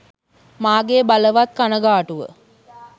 මාගේ බළවත් කණගාටුව.